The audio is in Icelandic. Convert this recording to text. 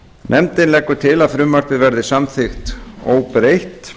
nefndin leggur til að frumvarpið verði samþykkt óbreytt